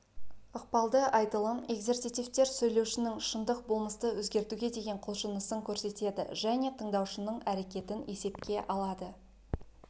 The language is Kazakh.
ықпалды айтылым экзерситивтер сөйлеушінің шындық болмысты өзгертуге деген құлшынысын көрсетеді және тыңдаушының әрекетін есепке алады